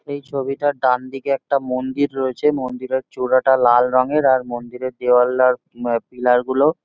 এই ছবিটার ডান দিকে একটা মন্দির রয়েছে। মন্দিরের চূড়াটা লাল রঙের। আর মন্দিরের দেওয়াল আর অ পিলার -গুলো--